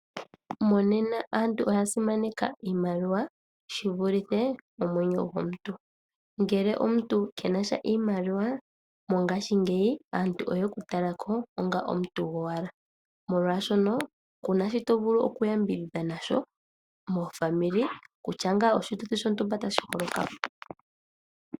Monena aantu oya simaneka iimaliwa shi vulithe omwenyo gomuntu. Ngele omuntu ke na sha iimaliwa mongashingeyi aantu oye ku tala ko onga omuntu gowala, molwashono ku na shi to vulu okuyambidhidha na sho mezimo kutya ngaa oshituthi shontumba tashi holoka mo.